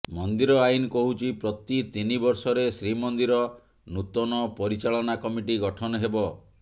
ମନ୍ଦିର ଆଇନ କହୁଛି ପ୍ରତି ତିନିବର୍ଷରେ ଶ୍ରୀମନ୍ଦିର ନୂତନ ପରିଚାଳନା କମିଟି ଗଠନ ହେବ